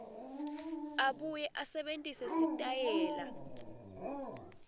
abuye asebentise sitayela